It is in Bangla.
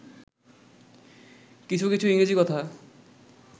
কিছু কিছু ইংরজী কথা